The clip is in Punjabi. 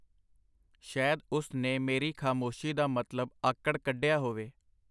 ਸ਼ੈਦ ਉਸ ਨੇ ਮੇਰੀ ਖਾਮੋਸ਼ੀ ਦਾ ਮਤਲਬ ਆਕੜ ਕੱਢਿਆ ਹੋਵੇ.